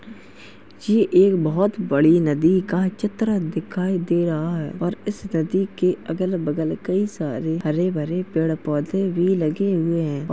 ये एक बोहोत बड़ी नदी का चित्र दिखाई दे रहा है और इस नदी के अगल बगल कई सारे हरे-भरे पेड़-पौधे भी लगे हुए हैं।